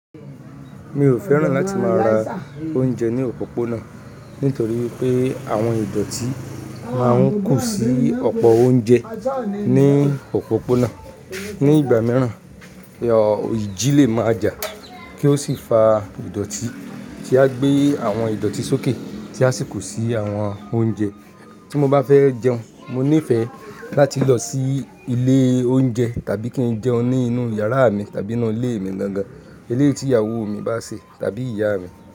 Mi ò fẹ́ràn láti máa ra oúnjẹ ní òpópónà nítorí wipé àwọn ìdọ̀tí máa ń kù sí ọ̀pọ̀ oúnjẹ ní òpópónà. Ní ìgbà mìíràn, iji lè máa jà kí ó sì fa ìdọ̀tí tí a gbé àwọn ìdọ̀tí sókè tí a sì kó sí àwọn oúnjẹ. Tí mo bá fẹ́ jẹun, mo níìfẹ̀ láti lọ sí ilé oúnjẹ tàbí kí n jẹun ní inú yàrá mi tàbí inú ilé mi gangán, ilé tí ìyàwó mi bá se tàbí ìyá mi.